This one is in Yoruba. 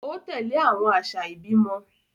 O tẹle awọn aṣa ibimọ